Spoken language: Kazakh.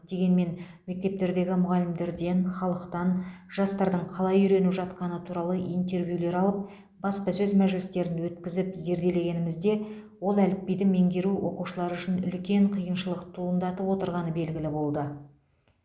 дегенмен мектептердегі мұғалімдерден халықтан жастардың қалай үйреніп жатқаны туралы интервьюлер алып баспасөз мәжілістерін өткізіп зерделегенімізде ол әліпбиді меңгеру оқушылар үшін үлкен қиыншылық туындатып отырғаны белгілі болды